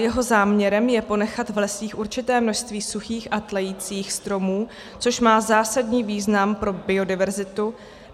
Jeho záměrem je ponechat v lesích určité množství suchých a tlejících stromů, což má zásadní význam pro biodiverzitu.